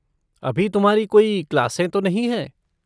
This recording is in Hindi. अभी तुम्हारी कोई क्लासें तो नहीं हैं?